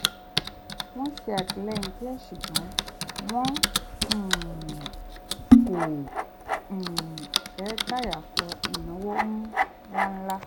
wọ́n ṣè àtìlẹ́yìn díẹ̀ ṣùgbọ́n wọn um kò um fẹ́ dàyàkọ ìnáwó ńláńlá